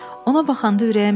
Ona baxanda ürəyim döyünür.